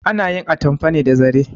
Ana yin atmafa ne da zare